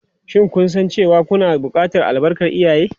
Shin kun san cewa kuna buƙatar albarkar iyaye?